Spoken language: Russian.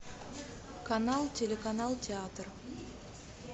канал телеканал театр